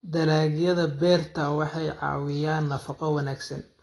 Dalagyada beerta waxay caawiyaan nafaqo wanaagsan.